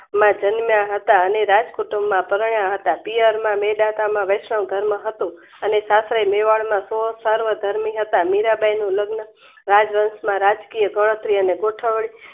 માં જન્મયા હતા અને રાજકુટુંબ માં પરણ્યા હતા. પિયરમાં મેદાતામાં વૈષ્ણવ ધર્મ હતું અને સાસરે મેવાડના સો સાર્વ ધણી હતા. મીરાબાઈના લગ્ન રાજવન્સ ના રાજકીય ગણતરી અને ગોઠવણી